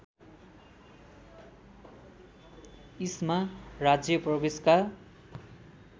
इस्मा राज्य प्रवेशका